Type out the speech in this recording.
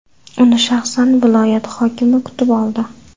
Uni shaxsan viloyat hokimi kutib oldi.